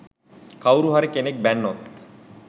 කවුරුහරි කෙනෙක් බැන්නොත්